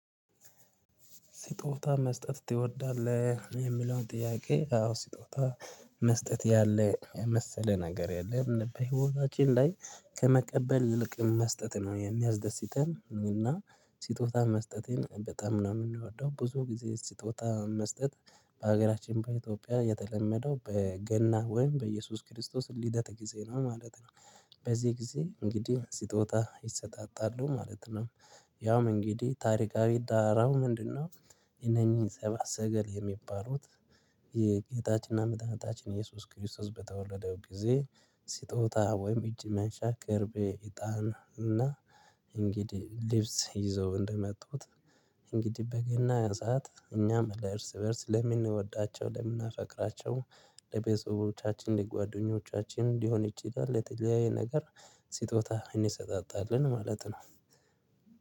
ስጦታ መስጠት ትወዳለህ? የሚለውን ጥያቄ አዎ ስጦታ መስጠት ያለ የመሰለ ነገር የለም በህይወታችን ላይ ከመቀበል ይልቅ መስጠት ነው የሚያስደስተን እና ስጦታ መስጠቴን በጣም ነው የምንወደው ብዙ ጊዜ ስጦታ መስጠት በሀገራችን በኢትዮጵያ የተለመደው በገና ወይም በኢየሱስ ክርስቶስ ልደት ጊዜ ነው ማለት ነው። በዚህ ጊዜ እንግዲህ ስጦታ ይሰጣጣሉ ማለት ነው። ያውም እንግዲህ ታሪካዊ ዳራው ምንድነው? የነኚህ ሰባል ሰገል የሚባሉት የጌታችንና ምጣጣችን ኢየሱስ ክርስቶስ በተወለደው ጊዜ ስጦታ ወይም እጅ መንሻ ከርቤ እጣን እና እንግዲህ ልብስ ይዘው እንደመጡት። እንግዲህ በገና ያ ሰዓት እኛም እርስ በእርስ ለምንወዳቸው ለምናፈቅራቸው ለቤተሰቦቻችን ለጓደኞቻችን እንዲሆን ይችላል የጥያቄ ነገር ሲጦታ እኔ እሰጣጣለሁ ማለት ነው።